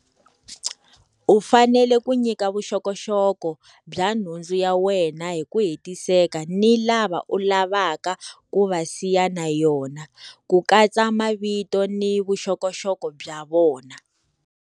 U fanele ku nyika vuxokoxoko bya nhundzu ya wena hi ku hetiseka ni lava u lavaka ku va siya na yona, ku katsa mavito ni vuxokoxoko bya vona.